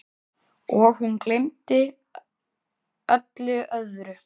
Og hún gleymdi öllu öðru.